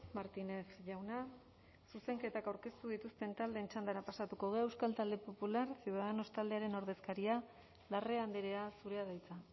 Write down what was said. martínez jauna zuzenketak aurkeztu dituzten taldeen txandara pasatuko gara euskal talde popular ciudadanos taldearen ordezkaria larrea andrea zurea da hitza